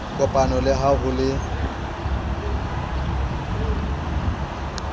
kopano le ha ho le